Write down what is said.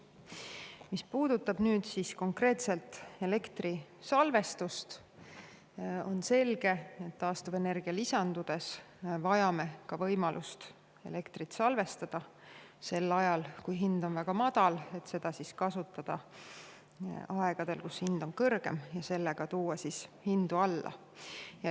Mis puudutab konkreetselt elektri salvestust, siis on selge, et taastuvenergia lisandudes vajame ka võimalust elektrit salvestada sel ajal, kui hind on väga madal, et seda kasutada aegadel, kui hind on kõrgem ja sel viisil tuua elektri hinda alla.